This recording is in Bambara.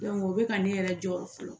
o bɛ ka ne yɛrɛ jɔrɔ fɔlɔ